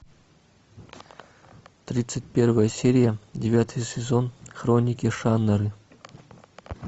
тридцать первая серия девятый сезон хроники шаннары